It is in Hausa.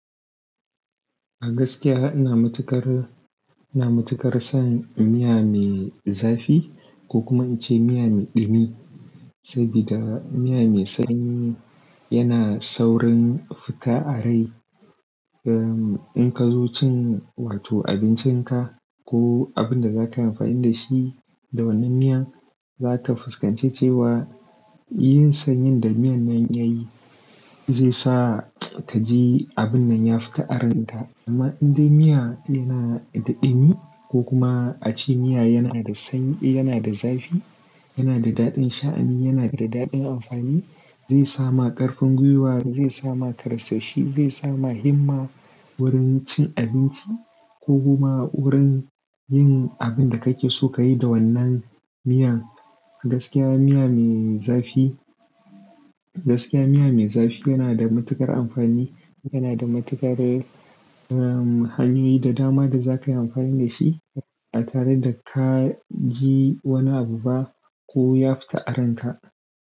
Gaskiya ina matuƙar, ina matuƙar son miya mai zafi ko kuma ince miya mai ɗumi, sabida miya mai sanyi yana saurin fita a rai. Ehm, in ka zo cin wato abincinka ko abin da za ka yi amfani da shi da wannan miya, za ka fuskance cewa yin sanyin da miyan nan ya yi zai sa ka ji abin nan ya fita a ranka. Amma in dai miya yana da ɗumi ko kuma a ce miya yana da sanyi, yana da zafi, yana da daɗin sha'ani, yana da daɗin amfani, zai sa ma ƙarfin gwiwa, zai sa ma karsashi, zai sama himma wurin cin abinci ko kuma wurin yin abin da kake so ka yi da wannan miyan. Gaskiya miya mai zafi, gaskiya miya mai zafi yana da matuƙar amfani. Yana da matuƙar, ehm, hanyoyi da dama da za ka yi amfani da shi ba tare da ka ji wani abu ba ko ya fita aranta.